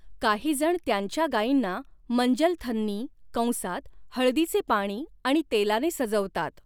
काहीजण त्यांच्या गाईंना मंजलथन्नी कंसात हळदीचे पाणी आणि तेलाने सजवतात.